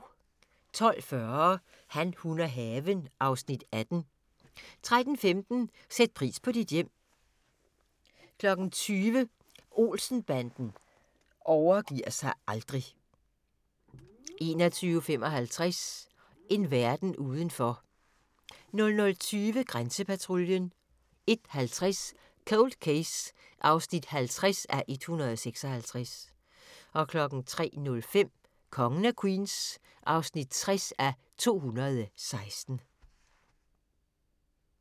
12:40: Han, hun og haven (Afs. 18) 13:15: Sæt pris på dit hjem 20:00: Olsen-banden overgiver sig aldrig 21:55: En verden udenfor 00:20: Grænsepatruljen 01:50: Cold Case (50:156) 03:05: Kongen af Queens (60:216)